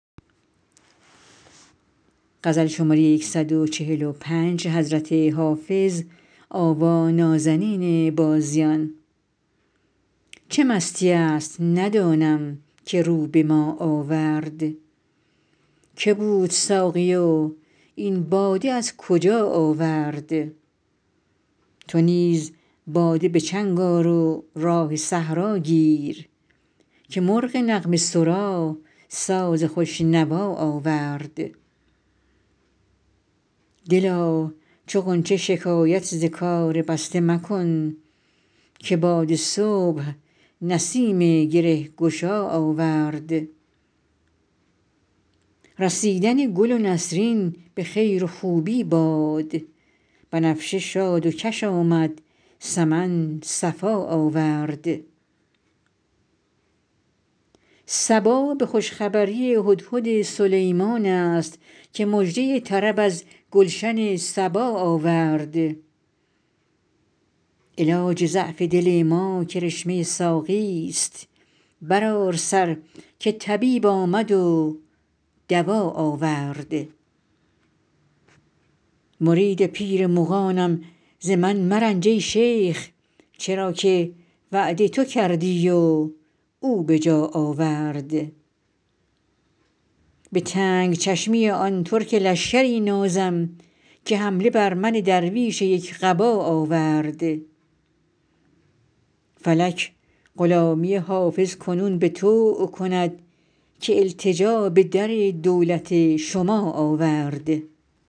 چه مستیی است ندانم که رو به ما آورد که بود ساقی و این باده از کجا آورد چه راه می زند این مطرب مقام شناس که در میان غزل قول آشنا آورد تو نیز باده به چنگ آر و راه صحرا گیر که مرغ نغمه سرا ساز خوش نوا آورد دلا چو غنچه شکایت ز کار بسته مکن که باد صبح نسیم گره گشا آورد رسیدن گل نسرین به خیر و خوبی باد بنفشه شاد و کش آمد سمن صفا آورد صبا به خوش خبری هدهد سلیمان است که مژده طرب از گلشن سبا آورد علاج ضعف دل ما کرشمه ساقیست برآر سر که طبیب آمد و دوا آورد مرید پیر مغانم ز من مرنج ای شیخ چرا که وعده تو کردی و او به جا آورد به تنگ چشمی آن ترک لشکری نازم که حمله بر من درویش یک قبا آورد فلک غلامی حافظ کنون به طوع کند که التجا به در دولت شما آورد